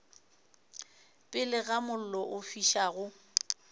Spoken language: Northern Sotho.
pele ga mollo o fišago